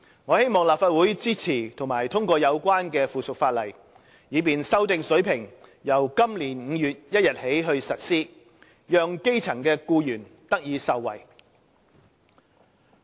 我希望立法會支持及通過有關的附屬法例，以便修訂水平由今年5月1日起實施，讓基層僱員得以受惠。